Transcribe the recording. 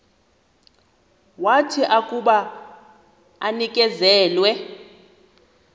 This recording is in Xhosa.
wathi akuba enikezelwe